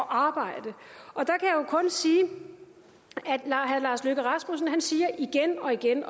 arbejde når herre lars løkke rasmussen siger igen og igen